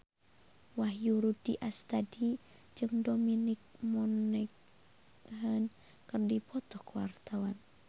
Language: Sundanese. Wahyu Rudi Astadi jeung Dominic Monaghan keur dipoto ku wartawan